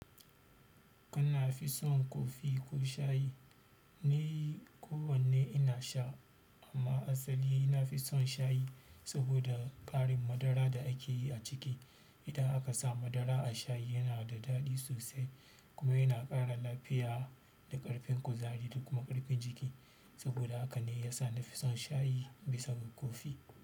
Kana fi son kofi ko shayi? Ni kowanne ina sha amma asali nafi son shayi saboda ƙarin madara da ake yi a ciki. Idan aka sa madara a shayi yana da daɗi sosai kuma yana ƙara lafiya da ƙarfin kuzari da kuma ƙarfin jiki. Saboda haka ne ya sa na fi son shayi bisa ga kofi.